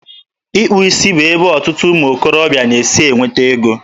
Ịkpụ isi bụ ebe ọtụtụ ụmụ okorobịa na-esi enweta ego.